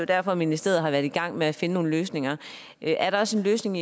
derfor ministeriet har været i gang med at finde nogle løsninger er der også en løsning